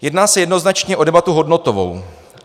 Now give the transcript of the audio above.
Jedná se jednoznačně o debatu hodnotovou.